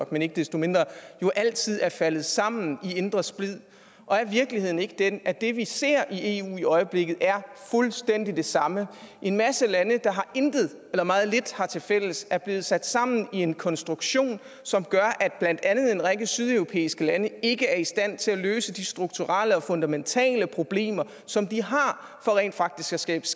men ikke desto mindre jo altid er faldet sammen i indre splid og er virkeligheden ikke den at det vi ser i eu i øjeblikket fuldstændig er det samme en masse lande der intet eller meget lidt har tilfælles som er blevet sat sammen i en konstruktion som gør at blandt andet en række sydeuropæiske lande ikke er i stand til at løse de strukturelle og fundamentale problemer som de har for rent faktisk at skabe